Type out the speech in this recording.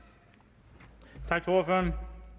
have